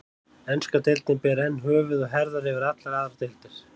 Enska deildin ber enn höfuð og herðar yfir allar aðrar deildir.